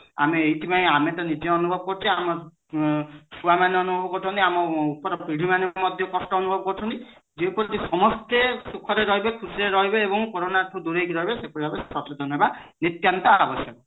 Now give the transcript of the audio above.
ଆମେ ଏଇଥି ପାଇଁ ଆମେ ତ ନିଜେ ଅନୁଭବ କରୁଚେ ଆମର ଛୁଆ ମାନେ ଅନୁଭବ କରୁଛନ୍ତି ଆମର ଉପର ପିଢୀମାନେ ମଧ୍ୟ କଷ୍ଟ ଅନୁଭବ କରୁଛନ୍ତି ଯେପରି କି ସମସ୍ତେ ସୁଖ ରେ ରହିବେ ଝୁସି ରେ ରହିବେ ଏବଂ କୋରୋନା ଠୁ ଦୂରେଇକି ରହିବେ ସେହିପରି ଭାବେ ସଚେତନ ହବା